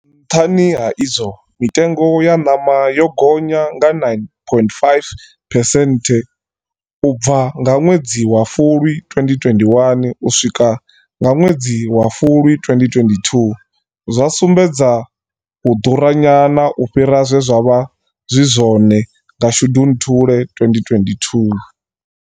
Nṱhani ha izwo, mitengo ya ṋama yo gonya nga 9.5 phesenthe u bva nga ṅwedzi wa fulwi 2021 u swika nga ṅwedzi wa fulwi 2022, zwa sumbedza u ḓuranyana u fhira zwe zwa vha zwi zwone nga shundunthule 2022.